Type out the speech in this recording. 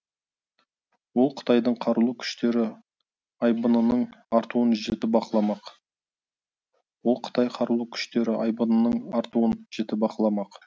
ол қытайдың қарулы күштері айбынының артуын жіті бақыламақ ол қытай қарулы күштері айбынының артуын жіті бақыламақ